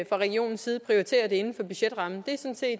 fra regionens side prioritere det inden for budgetrammen